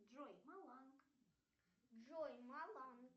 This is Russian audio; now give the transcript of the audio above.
джой маланг джой маланг